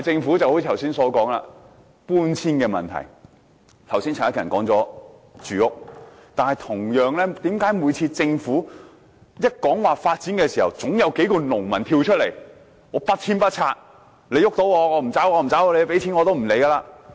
如剛才所說的搬遷問題，陳克勤議員提到的住屋問題，為何政府每次提出發展，便總有數名農民跳出來，大呼不遷不拆，政府採取行動，他們也不會走，賠錢也不理會。